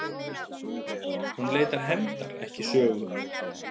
Hún leitar hefndar, ekki sögu.